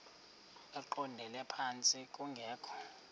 eqondele phantsi kungekho